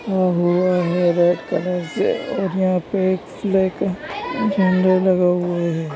लिखा हुआ है रेड कलर से और यहाँ पे एक फ्लैग अ झंडा लगा हुआ है।